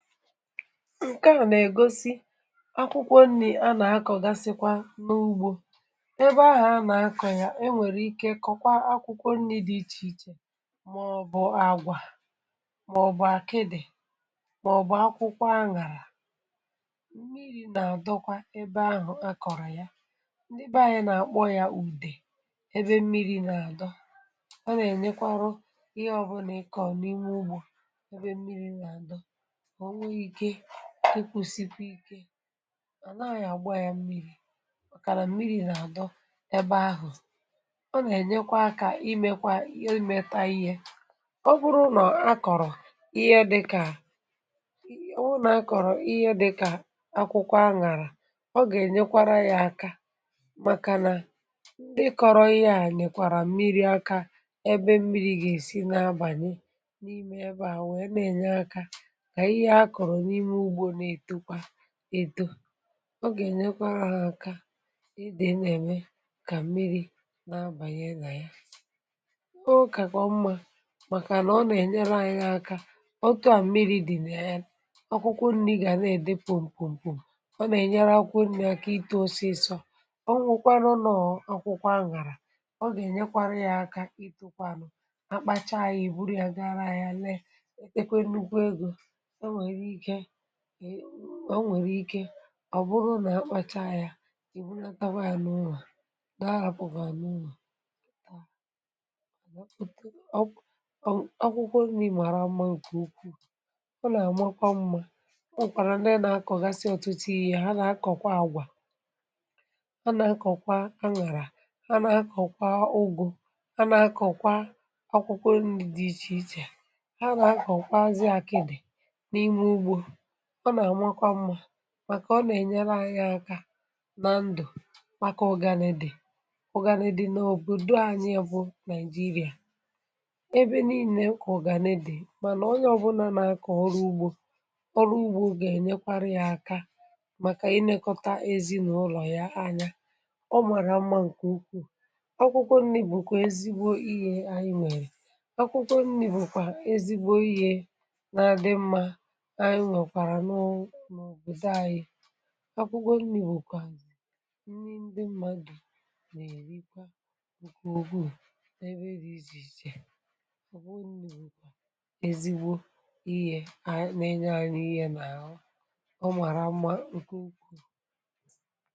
Ǹke... à nà-ègosí bụ̀ akwụkwọ nri̇ a nà-àkọ̀, gàsịkwa n’ugbò. um Ebe ahụ̀ a nà-àkọ̀ ya, e nwèrè ike kọ̀kwa akwụkwọ nri̇ dị iche iche: màọ̀bụ̀ àgwà, màọ̀bụ̀ àkịdị̀, màọ̀bụ̀ akwụkwọ àṅàrà. Mmịrị̇ nà-àdọ kwa ebe ahụ̀ akọ̀rọ̀ ya. Ndị ebe um anyị nà-àkpọ ya ùdè. Ebe mmịrị̇ nà-adọ, ọ nà-ènyekwa ihe ọbụna ike ọ̀ n’ime ugbò. Ebe mmịrị̇ nà-adọ... dị kwụsịkwa ike, à nà-a gbaa yà mmịrị̇, màkà nà mmịrị̇ nà-adọ ebe ahụ̀, ọ nà-ènyekwa aka, imekwa ihe imetà ihé. Ọ bụrụ nà a kọ̀rọ̀ ihe dịkà àgwà maọ̀bụ̀ akwụkwọ àṅàrà, ọ gà-ènyekwa yà aka. Màkà nà ndị kọrọ̀ ihe à, nwekwarà mmịrị̇ aka. Mmịrị̇ gà-èsi n’abàlị n’ìmè(um) ebe à, nà-ènye aka, ịtọ̀. Ọ gà-ènyekwa ha aka, ime ka mmịrị̇ na-abanye nà ya. Ọ kàkọ̀ mma, màkà nà ọ nà-ènyekwa ihe aka. Ọ́tụ à mmịrị̇ dì nà ya, akwụkwọ nri̇ gà na-èdé pòm, pòm, pòm. Ọ nà-ènyere akwụkwọ nri̇ aka itȯ́ osisọ́. Ọ́wụ̀kwa nụ̀, ọbụna akwụkwọ àṅàrà, ọ gà-ènyekwa yà aka itȯ̀kwanụ̀. Akpacha um yà buru yà, gara yà, lee. Ọ nwèrè ike ọ̀ bụrụ nà, akpàchá ya, ị̀ bùlịa, tawaànụ̀, ụlọ̀. Nàrapụ̀kwànụ̀ ụlọ̀ akwụkwọ. Nà ị màrà mma nke ukwuù. Ọ nà-àmakwa mma. Ọ nà-àkọ̀gasị em ọ̀tùtù: yà hà nà-àkọ̀kwa àgwà, ọ nà-àkọ̀kwa àkịdị̀, hà nà-àkọ̀kwa ùgù, hà nà-àkọ̀kwa akwụkwọ dị iche iche. Màkà nà ọ nà-ènyere aka nà ndụ̀, màkà ọ̀gànèdị̀...Ọ̀gànèdị̀ n’òbòdo anyị bụ̀ Naịjịrịa ebe niile. Ọ̀gànèdị̀, mànà onye ọ̀bụla nà-aka ọrụ ugbò, ọrụ ugbò gà-ènyekwa yà aka, màkà inèkọta ezinụlọ̀ ya. Ànyà ọ màrà mma, nke ukwuù. Akwụkwọ nri̇ bụ̀kwà ezigbo ịyè. Ànyị nwèrè. Akwụkwọ (um)nri̇ bụ̀kwà ezigbo ihe nà-adí n’òbòdo anyị. Akwụkwọ nri̇ um wùkwà nri ndị mmadụ̇ nà-èrí kwa ụbọchị̀. Ụ́kwụ̀ ùgwù. Ebe rie, izùizù. Ezì gbo ihé.... A na-ènye ahụrụ. Ihé nà-òmà. Ọ̀ màrà mma, nke ùgwù.